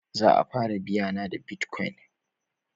Za a fara biya na da bitcoin